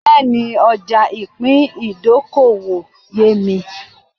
Bẹ́ẹ̀ni, ọjà ìpín ìdókòwò yémi